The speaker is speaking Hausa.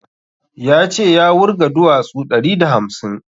Ya ce ya wurga duwasu ɗari da hamsin